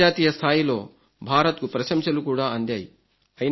అంతర్ రాష్ట్ర స్థాయిలో భారత్కు ప్రశంసలు కూడా అందాయి